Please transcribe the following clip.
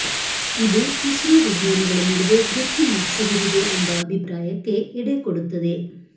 ಇದು ಇಸ್ರೊ ವಿಜ್ಞಾನಿಗಳ ನಡುವೆ ವೃತ್ತಿ ಮಾತ್ಸರ್ಯವಿದೆ ಎಂಬ ಅಭಿಪ್ರಾಯಕ್ಕೆ ಎಡೆ ಕೊಡುತ್ತದೆ